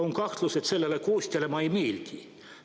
On kahtlus, et sellele koostajale ma ei meeldi.